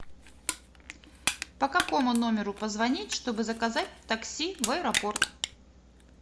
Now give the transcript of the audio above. по какому номеру позвонить чтобы заказать такси в аэропорт